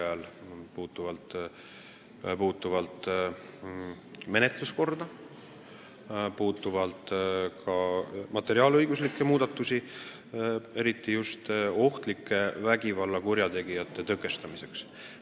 Need puudutavad menetluskorda ja ka materiaalõiguslikke muudatusi eriti ohtlike vägivallakuritegude tõkestamiseks.